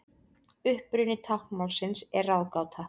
Uppruni táknmálsins er ráðgáta.